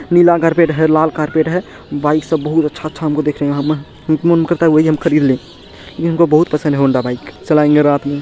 नीला carpet है लाल carpet है बाइक सब बहुत अच्छा-अच्छा हमको देखने का मन करता है वही हम खरीद ले इ हमको बहुत पसंद है हौंडा बाइक चलाएंगे रात में---